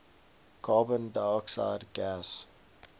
carbon dioxide gas